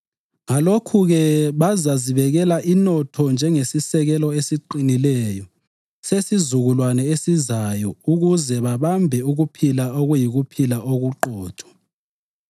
Ngalokhu-ke, bazazibekela inotho njengesisekelo esiqinileyo sesizukulwane esizayo ukuze babambe ukuphila okuyikuphila okuqotho.